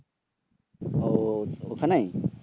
ও ওখানেই?